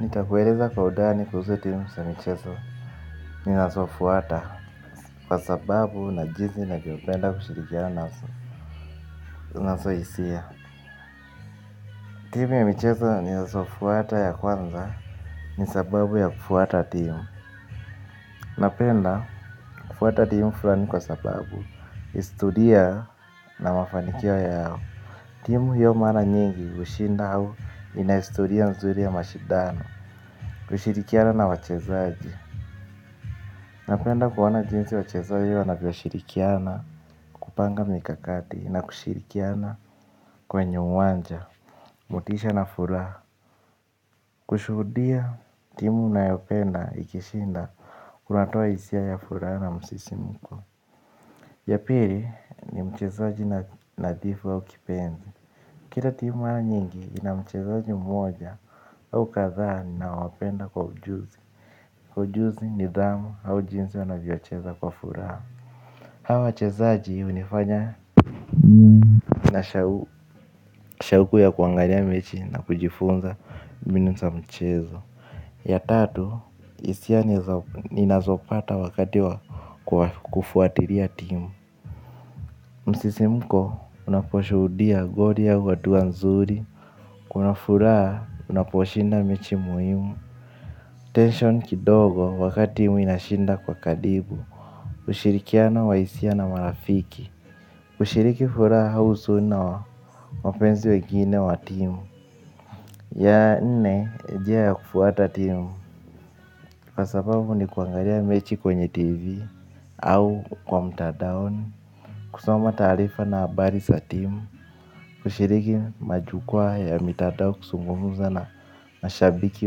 Nikakueleza kwa udani kuhusu timu sa. Michezo ni nasofuata kwa sababu na jinsi navopenda kushirikia naso naso isia. Timu ya Michezo ni nasofuata ya kwanza ni sababu ya kufuata timu. Napenda kufuata timu fulani kwa sababu istulia na mafanikio yao. Timu hiyo mana nyingi kushinda hau inaistulia nzuri ya mashidano kushirikia na wachezaji. Napenda kuona jinsi wachezoji wanavyo shirikiana kupanga mikakati na kushirikiana kwenye uwanja, mutisha na furaha. Kushuhudia timu nayopenda ikishinda kunatoa isia ya furaha na msisimuko. Yapiri ni mchezoji nadifu au kipendi. Kira timu wana nyingi ina mchezaji mmoja au kaza nina wapenda kwa ujuzi. Ujuzi nidhamu au jinsi wanavyo cheza kwa furaha. Hawa wachezaji unifanya na shawuku ya kuangalia mechi na kujifunza mibinu za mchezo. Ya tatu hisia ninazo pata wakati wa kufuatilia timu. Msisi mko unaposhudia goli au adua nzuri. Kuna furaa unaposhinda mechi muhimu. Tension kidogo wakati timu inashinda kwa kadibu. Ushirikiano wa isia na marafiki. Kushiriki fura hausuna wa mpenzi wengine wa timu. Ya nne, njia ya kufuata timu. Kwa sababu ni kuangalia mechi kwenye TV Au kwa mtadaoni kusoma tarifa na abari za timu kushiriki majukwa ya mtadao kusungumuza na mashabiki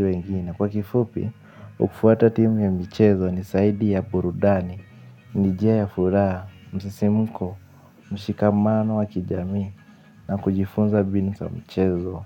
wengine kwa kifupi, ukufuata timu ya michezo ni saidi ya burudani. Nijia ya fura, msisimuko, mshikamano wa kijami na kujifunza binu sa mchezo.